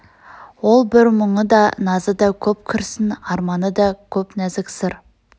ол бір мұңы да назы да көп күрсін арманы да көп нәзік сыр